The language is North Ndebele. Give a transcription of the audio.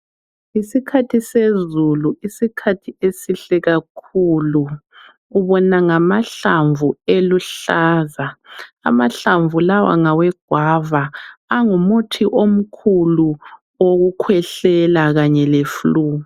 Yisikhathi sezulu, isikhathi esihle kakhulu. Ubona ngamahlamvu eluhlaza. Amahlamvu lawa ngawegwava, angumuthi omkhulu wokukhwehlela kanye le"Flu".